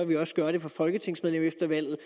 vil gøre det for folketingsmedlemmer efter valget